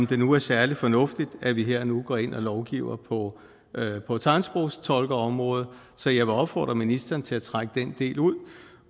det nu særlig fornuftigt at vi her og nu går ind og lovgiver på tegnsprogstolkeområdet så jeg vil opfordre ministeren til at trække den del ud